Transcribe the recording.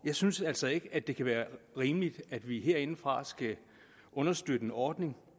jeg synes altså ikke at det kan være rimeligt at vi herindefra skal understøtte en ordning